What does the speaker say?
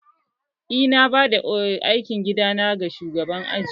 Eh, na bada aikin gida na ga shugaban aji